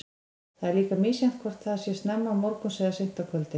Það er líka misjafnt hvort þetta sé snemma morguns eða seint á kvöldin.